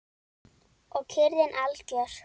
Og kyrrðin algjör.